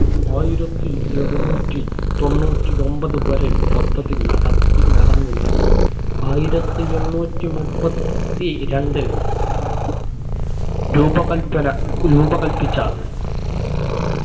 ആയിരത്തി എഴുനൂറ്റി തൊണ്ണൂറ്റി ഒമ്പത് വരെ പദ്ധതി നടക്കി നടന്നില്ല ആയിരത്തി എണ്ണൂറ്റി മുപ്പത് ത്തിരണ്ടിൽ രൂപകൽപ്പന റൂപകൽപ്പിച്ച